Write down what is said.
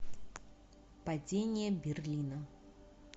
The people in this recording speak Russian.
падение берлина